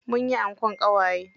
Munyi ankon ƙawaye.